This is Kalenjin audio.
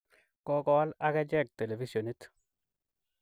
Kokoal ak achek televisionit.